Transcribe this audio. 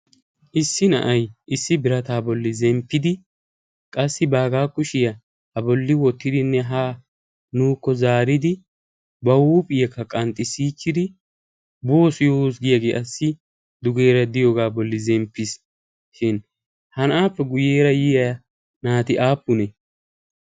issi na7ai issi birataa bolli zemppidi qassi baagaa kushiyaa ha bolli wottidinne ha nuukko zaaridi ba huuphi yekka qanxxissiichchidi boosu yoo giyaagee assi dugeera diyoogaa bolli zemppiis shin ha na7aappe guyyeera yiya naati aappunee?